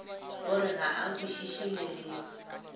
o re ga a kwešišeleleme